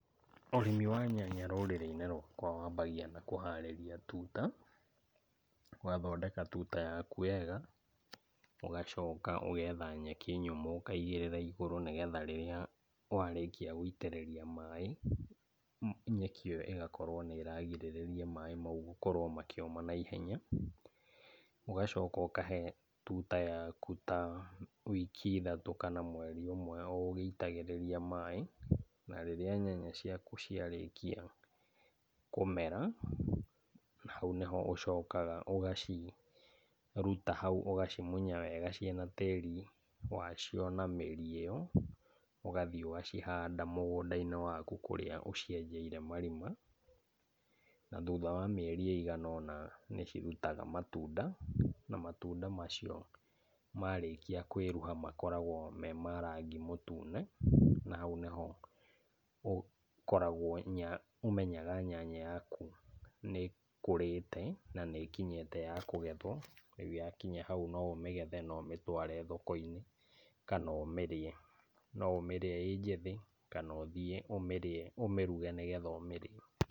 Ũrimi wa nyanya rũrĩrĩ-inĩ rwakwa wambagia na kũharĩria tuta, ũgathondeka tuta yakũ wega, ũgacoka ũgetha nyeki nyũmũ ũkaigĩrĩra igũrũ, nĩgetha rĩrĩa warĩkĩa gũitĩrĩria maĩ, nyeki iyo ũgakorwo nĩ ĩragirĩrĩa maĩ mau gũkorwo makĩũma na ihenya, ũgacoka ũkahe tuta yaku ta wiki ithatũ kana mweri ũmwe o ũgĩitagĩrĩria maĩ, na rĩrĩa nyanya ciaku ciarĩkia kũmera hau nĩho ũcoka ũgaciruta hau ũgacimunya wega, cirĩ na tĩri wacio na mĩri ĩyo, ũgathiĩ ũgacihanda mũgũnda- inĩ waku kũrĩa ũcienjeire marima. Na thutha wa mĩeri ĩigana ũna nĩcirutaga matunda, na matunda macio marĩkia kwĩruha makoragwo me ma rangi mũtune. Na hau nĩho ũkoragwo kũmenya nyanya yaku nnĩkũrĩte na nĩĩkinyite ya kũgethwo, rĩu yakĩnya hau no ũmĩgethe na ũmĩtware thoko-inĩ kana ũmĩrĩe, no ũmĩrĩe ĩrĩ njĩthĩ kana ũthiĩ ũmĩruge, nĩgetha ũmĩrĩe.